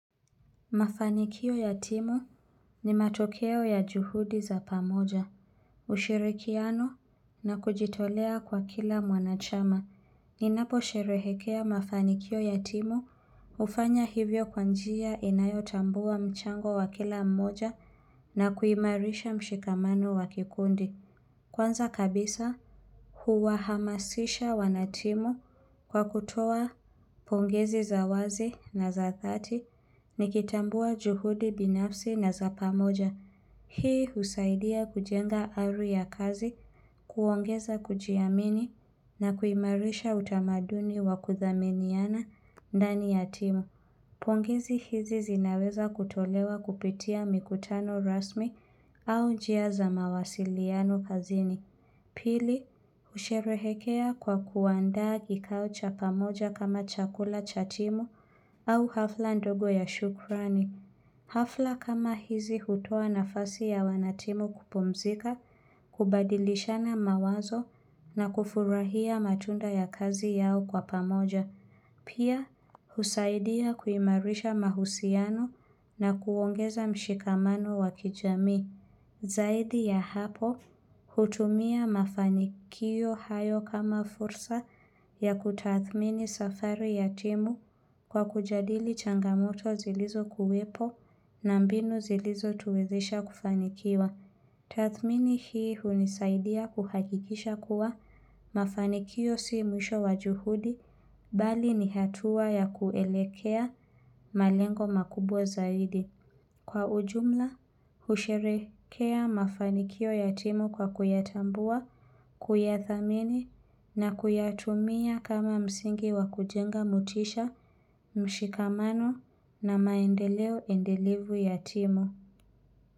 Mafanikio ya timu ni matokeo ya juhudi za pamoja, ushirikiano na kujitolea kwa kila mwanachama. Ninaposherehekea mafanikio ya timu, hufanya hivyo kwa njia inayotambua mchango wa kila mmoja na kuimarisha mshikamano wa kikundi. Kwanza kabisa huwahamasisha wanatimu kwa kutoa pongezi za wazi na za thati nikitambua juhudi binafsi na za pamoja. Hii husaidia kujenga ari ya kazi, kuongeza kujiamini na kuimarisha utamaduni wa kuthaminiana ndani ya timu. Pongezi hizi zinaweza kutolewa kupitia mikutano rasmi au njia za mawasiliano kazini. Pili, husherehekea kwa kuandaa kikao cha pamoja kama chakula cha timu au hafla ndogo ya shukrani. Hafla kama hizi hutoa nafasi ya wanatimu kupumzika, kubadilishana mawazo na kufurahia matunda ya kazi yao kwa pamoja. Pia, husaidia kuimarisha mahusiano na kuongeza mshikamano wa kijamii. Zaidi ya hapo hutumia mafanikio hayo kama fursa ya kutathmini safari ya timu kwa kujadili changamoto zilizokuwepo na mbinu zilizotuwezesha kufanikiwa. Tathmini hii hunisaidia kuhakikisha kuwa mafanikio si mwisho wa juhudi bali ni hatua ya kuelekea malengo makubwa zaidi. Kwa ujumla, husherekea mafanikio ya timu kwa kuyatambua, kuyathamini na kuyatumia kama msingi wa kujenga motisha, mshikamano na maendeleo endelevu ya timu.